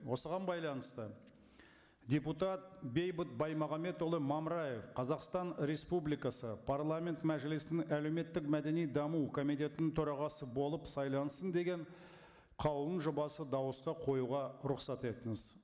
осыған байланысты депутат бейбіт баймағамбетұлы мамыраев қазақстан республикасы парламент мәжілісінің әлеуметтік мәдени даму комитетінің төрағасы болып сайлансын деген қаулының жобасын дауысқа қоюға рұқсат етіңіз